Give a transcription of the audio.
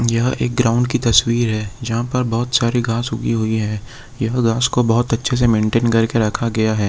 यह एक ग्राउंड की तस्वीर है जहाँ पर बहुत सारी घास उगी हुई है यह घास को बहुत अच्छे से मेंटेन कर के रखा गया है।